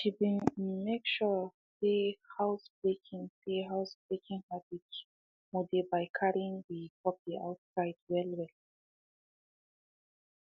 she been um make sure um say housebreaking say housebreaking habits mo dey by carrying the um puppy outside well well